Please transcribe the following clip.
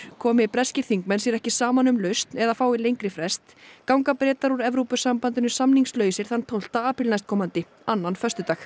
komi breskir þingmenn sér ekki saman um lausn eða fái lengri frest ganga Bretar úr Evrópusambandinu samningslausir þann tólfta apríl næstkomandi annan föstudag